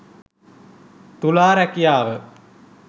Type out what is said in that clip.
තුලා රැකියාව